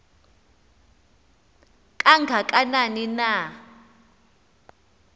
kanga kanani na